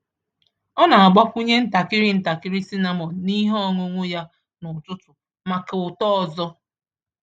Ọ na-agbakwụnye ntakịrị ntakịrị cinnamon n’ihe ọṅụṅụ ya n’ụtụtụ maka ụtọ ọzọ.